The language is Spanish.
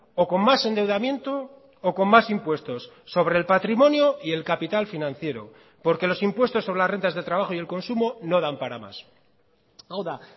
o con más endeudamiento o con más impuestos sobre el patrimonio y el capital financiero porque los impuestos sobre las rentas de trabajo y el consumo no dan para más hau da